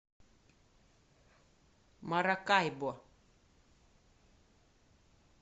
маракайбо